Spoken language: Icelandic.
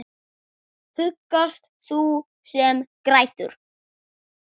Huggast þú sem grætur.